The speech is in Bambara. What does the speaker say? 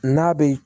N'a bɛ